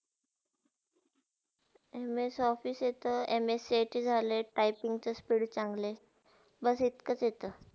Ms office येता ms cit झाले typing च्या speed चांगले बस इतकाच येता